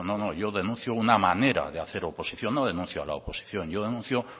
no no yo denuncio una manera de hacer oposición no denuncia a la oposición yo denuncio